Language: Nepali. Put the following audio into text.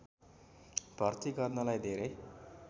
भर्ति गर्नलाई धेरै